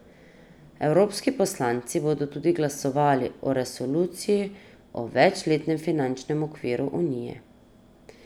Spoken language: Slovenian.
Evropski poslanci bodo tudi glasovali o resoluciji o večletnem finančnem okviru unije.